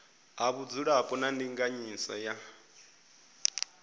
ha vhudzulapo na ndinganyiso ya